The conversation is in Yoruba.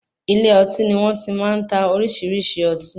Ilé ọtí ni wọ́n ti má ń ta oríṣiríṣi ọtí.